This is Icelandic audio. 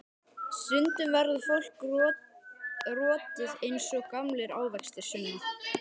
Stundum verður fólk rotið eins og gamlir ávextir, Sunna.